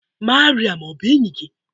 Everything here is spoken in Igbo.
Mariam ọ bụ enyi gị?